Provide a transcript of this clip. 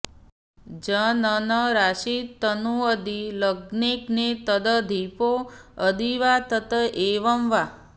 जननराशितनू यदि लग्नगे तदधिपौ यदि वा तत एव वा